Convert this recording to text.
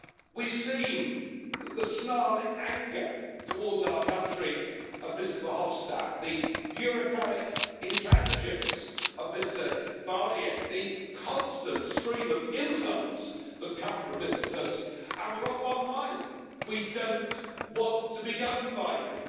We've seen the snarling anger towards our country of Mr Verhofstadt, the bureaucratic intransigence of Mr Barnier, the constant stream of insults that come from Mr Tusk, and we're of one mind we don't want to be governed by you.